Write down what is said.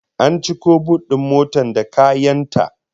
An ciko but din motar da kayan ta